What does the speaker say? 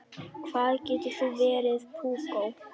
Hvað þú getur verið púkó!